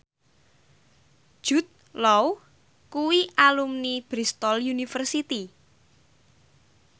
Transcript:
Jude Law kuwi alumni Bristol university